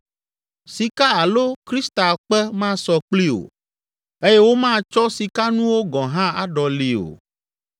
Sika alo kristalkpe masɔ kplii o eye womatsɔ sikanuwo gɔ̃ hã aɖɔlii o.